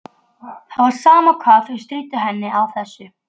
Það var sama hvað þau stríddu henni á þessu.